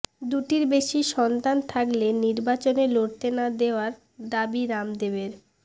দুটির বেশি সন্তান থাকলে নির্বাচনে লড়তে না দেওয়ার দাবি রামদেবের